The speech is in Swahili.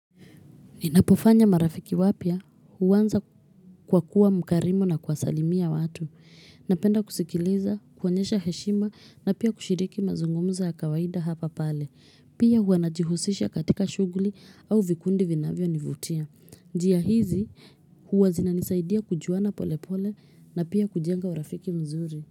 Ninapofanya marafiki wapya huwanza kwa kuwa mkarimu na kuwa salimia watu. Napenda kusikiliza, kuonyesha heshima na pia kushiriki mazungumuzo ya kawaida hapa pale. Pia huwa najihusisha katika shuguli au vikundi vinavyo nivutia. Njia hizi huwa zinanisaidia kujuana pole pole na pia kujenga urafiki mzuri.